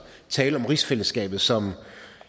tale om rigsfællesskabet som